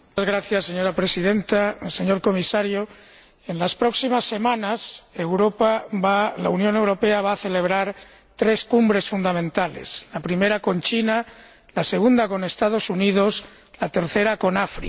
Señora Presidenta, señor Comisario, en las próximas semanas la Unión Europea va a celebrar tres cumbres fundamentales la primera con China, la segunda con los Estados Unidos y la tercera con África.